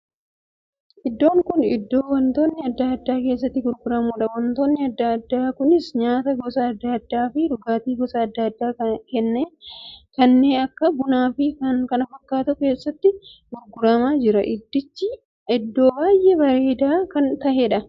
Iddoon kun iddoo wantootni addaa addaa keessatti gurguramuudha. wantootni addaa addaa kunisa nyaata gosa addaa addaa fi dhugaatii gosa addaa addaa kannee akka bunaa fi kan kana fakkaatantu keessatti gurguramaa jira. Iddichi iddoo baay'ee bareedaa kan taheedha.